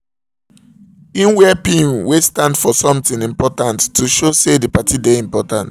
he wear pin wey stand for something important to show say the party dey important